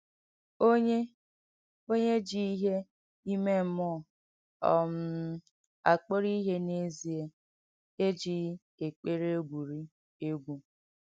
Onyè Onyè jì ìhé ìmè m̀múọ̀ um àkpọ̀rọ̀ ìhé n’èzìè èjìghì èkpèrè ègwùrì ègwù.